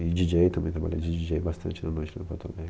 E DJ também, trabalhei de DJ bastante na noite de porto alegre